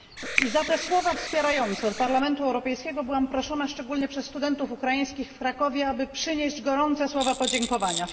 I za te słowa wspierające od Parlamentu Europejskiego byłam proszona, szczególnie przez studentów ukraińskich w Krakowie, aby przynieść gorące słowa podziękowania.